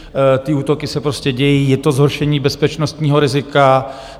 Ty útoky se prostě dějí, je to zhoršení bezpečnostního rizika.